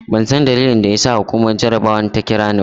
Ban san dalilin da ya sa hukumar jarabawar ta kira ni ba.